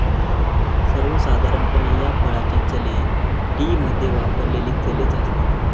सर्वसाधारणपणे या फळाची चले टी मध्ये वापरलेली चलेचं असतात